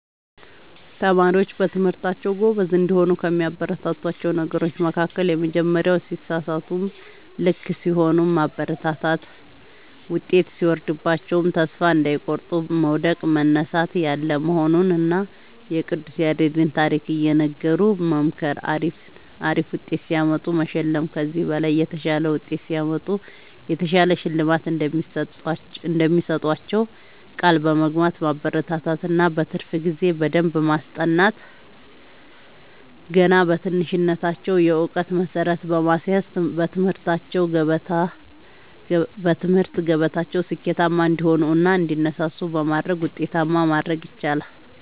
ተማሪዎች በትምህርታቸዉ ጎበዝ እንዲሆኑ ከሚያበረታቷቸዉ ነገሮች መካከል:- የመጀመሪያዉ ሲሳሳቱም ልክ ሲሆኑም ማበረታታት ዉጤት ሲወርድባቸዉም ተስፋ እንዳይቆርጡ መዉደቅ መነሳት ያለ መሆኑንና የቅዱስ ያሬድን ታሪክ እየነገሩ መምከር አሪፍ ዉጤት ሲያመጡ መሸለም ከዚህ በላይ የተሻለ ዉጤት ሲያመጡ የተሻለ ሽልማት እንደሚሰጧቸዉ ቃል በመግባት ማበረታታት እና በትርፍ ጊዜ በደንብ በማስጠናት ገና በትንሽነታቸዉ የእዉቀት መሠረት በማስያዝ በትምህርት ገበታቸዉ ስኬታማ እንዲሆኑ እና እንዲነሳሱ በማድረግ ዉጤታማ ማድረግ ይቻላል።